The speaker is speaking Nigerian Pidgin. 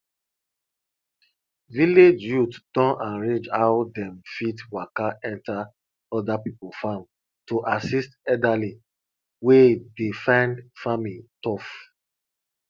village youth don arrange how dem fit waka enter other people farm to assist elderly wey dey find farming tough